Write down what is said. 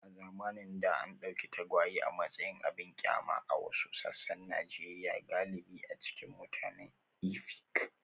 A zamanin da, an dauki tagwaye a matsayin abin kyama a wasu sassan Najeriya galibi a cikin mutanen Efik.